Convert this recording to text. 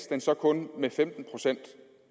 den så kun med femten procent